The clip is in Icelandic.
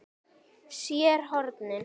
SÉR HORNIN.